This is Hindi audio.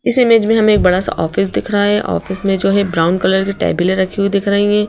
इस इमेज में हमें एक बड़ा सा ऑफिस दिख रहा है ऑफिस में जो है ब्राउन कलर की टेबल ए रखी हुई दिख रही हैं।